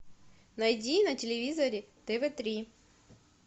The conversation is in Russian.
найди на телевизоре тв три